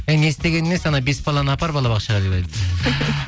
әй не істегені несі анау бес баланы апар балабақшаға